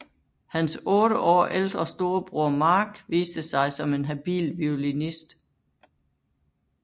Hans otte år ældre storbror Mark viste sig som en habil violinist